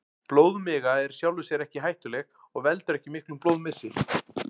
Blóðmiga er í sjálfu sér ekki hættuleg og veldur ekki miklum blóðmissi.